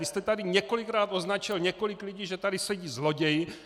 Vy jste tady několikrát označil několik lidí, že tady sedí zloději!